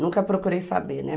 Nunca procurei saber, né?